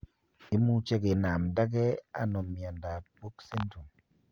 Imuche kinamdege ano miondap book syndrome.